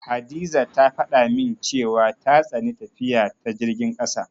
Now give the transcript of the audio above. Hadiza ta faɗa min cewa ta tsani tafiya ta jirgin ƙasa.